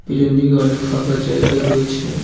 পিছন দিকে অনেক ফাঁকা জায়গা রয়েছে।